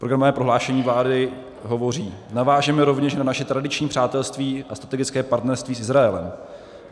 Programové prohlášení vlády hovoří: Navážeme rovněž na naše tradiční přátelství a strategické partnerství s Izraelem.